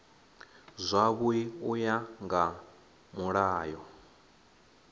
zwavhui u ya nga mulayo